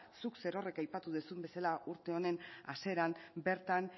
zuk zerorrek aipatu duzun bezala urte honen hasieran bertan